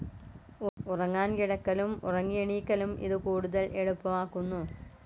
ഉറങ്ങാൻ കിടക്കലും ഉറങ്ങിയെണീക്കലും ഇതു കൂടുതൽ എളുപ്പമാക്കുന്നു.